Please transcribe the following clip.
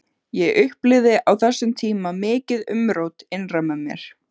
Ég upplifði á þessum tíma mikið umrót innra með mér.